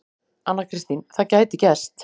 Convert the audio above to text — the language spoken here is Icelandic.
Anna Kristín: Það gæti gerst.